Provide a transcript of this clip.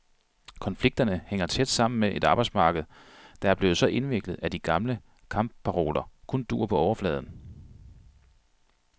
Konflikterne hænger tæt sammen med et arbejdsmarked, der er blevet så indviklet, at de gamle kampparoler kun duer på overfladen.